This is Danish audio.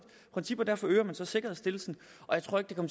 princip og derfor øger man så sikkerhedsstillelsen